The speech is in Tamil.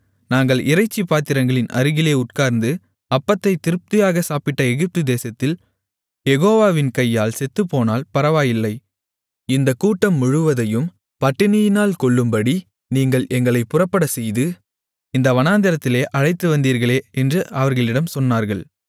நாங்கள் இறைச்சிப் பாத்திரங்களின் அருகிலே உட்கார்ந்து அப்பத்தைத் திருப்தியாகச் சாப்பிட்ட எகிப்து தேசத்தில் யெகோவாவின் கையால் செத்துப்போனால் பரவாயில்லை இந்தக் கூட்டம் முழுவதையும் பட்டினியினால் கொல்லும்படி நீங்கள் எங்களைப் புறப்படச்செய்து இந்த வனாந்திரத்திலே அழைத்துவந்தீர்களே என்று அவர்களிடம் சொன்னார்கள்